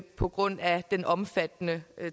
på grund af den omfattende